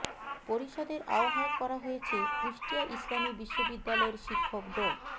পরিষদের আহ্বায়ক করা হয়েছে কুষ্টিয়া ইসলামী বিশ্ববিদ্যালয়ের শিক্ষক ড